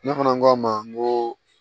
Ne fana k'a ma n ko